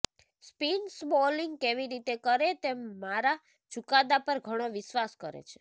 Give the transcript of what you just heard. spinners bowling કેવી રીતે કરે તે મારા ચુકાદા પર ઘણો વિશ્વાસ કરે છે